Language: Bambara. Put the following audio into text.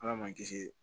Ala ma kisi